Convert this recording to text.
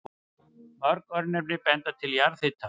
Mörg örnefni benda til jarðhita.